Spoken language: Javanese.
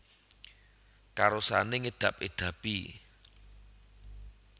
Karosane ngedab edabi